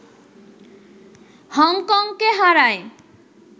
হংকংকে হারায়